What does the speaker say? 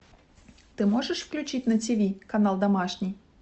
ты можешь включить на тиви канал домашний